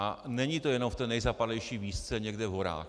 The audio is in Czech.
A není to jenom v té nejzapadlejší vísce někde v horách.